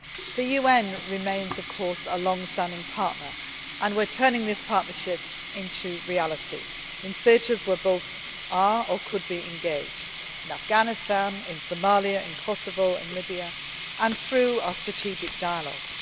The UN remains, of course, a longstanding partner, and we are turning this partnership into reality in theatres where both are or could be engaged, in Afghanistan, Somalia, Kosovo and Libya, and through our strategic dialogue.